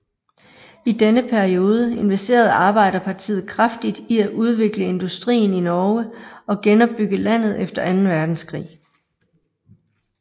I denne periode investerede Arbeiderpartiet kraftigt i at udvikle industrien i Norge og genopbygge landet efter anden Verdenskrig